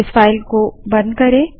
इस फाइल को बंद करें